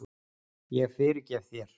Ég fyrirgef þér.